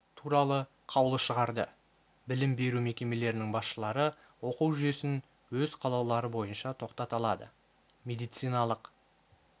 туралы қаулы шығарды білім беру мекемелерінің басшылары оқу жүйесін өз қалаулары бойынша тоқтата алады медициналық